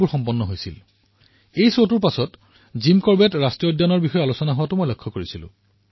এই খণ্ডটোৰ পিছত বৃহৎ সংখ্যক লোকে জিম কৰবেট ৰাষ্ট্ৰীয় উদ্যানৰ বিষয়ে আলোচনা কৰাটো মই প্ৰত্যক্ষ কৰিছো